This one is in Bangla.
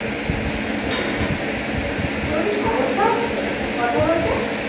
তোমার কি সমস্যা হচ্ছে কথা বলতে